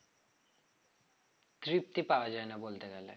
তৃপ্তি পাওয়া যায় না বলতে গেলে